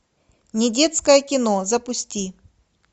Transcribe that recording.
недетское кино запусти